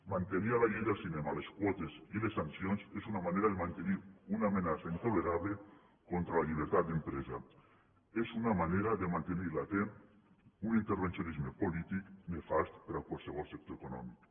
mantenir en la llei del cinema les quotes i les sancions és una manera de mantenir una amenaça intolerable contra la llibertat d’empresa és una manera de mantenir latent un intervencionisme polític nefast per a qualsevol sector econòmic